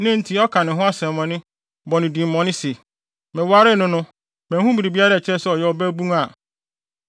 na enti ɔka ne ho asɛmmɔne, bɔ no din bɔne se, “Mewaree no no, manhu biribiara a ɛkyerɛ sɛ ɔyɛ ɔbabun,”